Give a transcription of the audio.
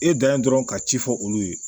E dan ye dɔrɔn ka ci fɔ olu ye